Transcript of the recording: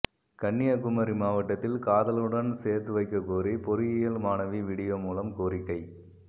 கன்னியாகுமரி மாவட்டத்தில் காதலனுடன் சேர்த்து வைக்க கோரி பொறியியல் மாணவி வீடியோ மூலம் கோரிக்கை